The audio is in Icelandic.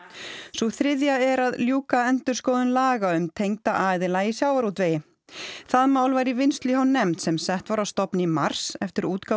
sú þriðja er að ljúka endurskoðun laga um tengda aðila í sjávarútvegi það mál var í vinnslu hjá nefnd sem sett var á stofn í mars eftir útgáfu